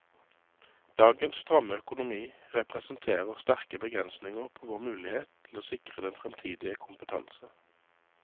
Dagens stramme økonomi representerer sterke begrensninger på vår mulighet til å sikre den fremtidige kompetanse.